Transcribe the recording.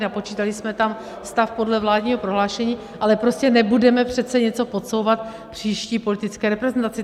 Napočítali jsme tam stav podle vládního prohlášení, ale prostě nebudeme přece něco podsouvat příští politické reprezentaci.